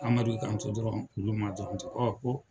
Amadu k'an to dɔrɔn Kulu ma dɔrɔn ten ko